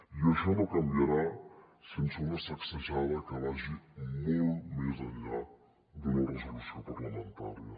i això no canviarà sense una sacsejada que vagi molt més enllà d’una resolució parlamentària